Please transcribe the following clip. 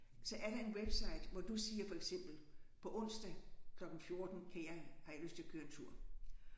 Så er der en website hvor du siger for eksempel på onsdag klokken 14 kan jeg har jeg lyst til at køre en tur